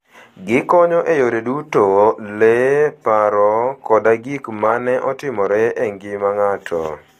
Gikonyo e yore duto - le, paro, koda gik ma ne otimore e ngima ng'ato.